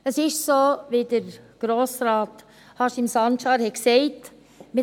Es ist so, wie dies Grossrat Haşim Sancar gesagt hat.